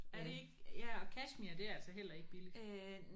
Er det ikke ja og kashmir det er altså heller ikke billigt